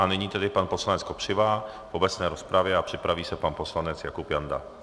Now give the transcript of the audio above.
A nyní tedy pan poslanec Kopřiva v obecné rozpravě a připraví se pan poslanec Jakub Janda.